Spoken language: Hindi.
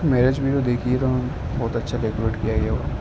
मैरेज मेरा देखिएगा। बहुत अच्छा डेकोरेट किया गया हो--